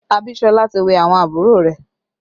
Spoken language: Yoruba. Abisola ti wẹ̀ àwọn àbúrò rẹ̀